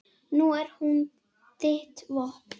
Nú er hún þitt vopn.